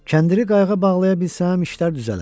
Kəndiri qayıqa bağlaya bilsəm, işlər düzələr.